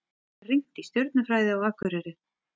Rýnt í stjörnufræði á Akureyri